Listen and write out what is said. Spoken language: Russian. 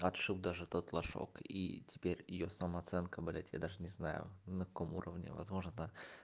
отшил даже тот лошок и теперь её самооценка блядь я даже не знаю на каком уровне возможно да